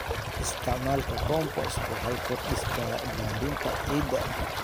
Isticmaalka compost waxay kordhisaa bacrinta ciidda.